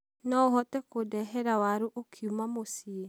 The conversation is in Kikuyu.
noũhote kũndehera waru ũkiuma muciĩ ?